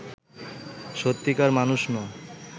সত্যিকার মানুষ নয়